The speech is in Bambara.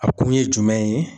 A kun ye jumɛn ye?